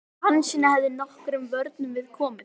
Hansína hefði nokkrum vörnum við komið.